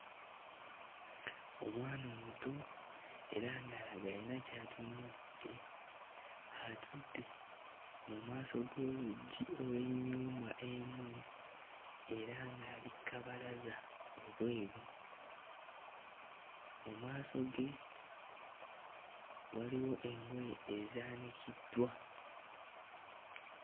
Omwana omuto era ng'alaga alina ky'atunuulidde. Atudde mu maaso g'oluggi olw'ennyumba emu, era ng'ali kkabalaza wabweru. Mu maaso ge waliwo engoye ezaanikiddwa.